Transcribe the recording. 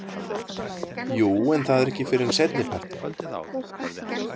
Jú en það er ekki fyrr en seinnipartinn.